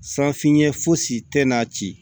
San finɲɛ fosi tɛ n'a ci